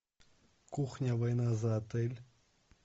кухня война за отель